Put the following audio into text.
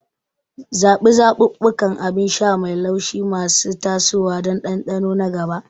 Zaɓi zaɓuɓɓukan abin sha mai laushi masu tasowa don dandano na gaba.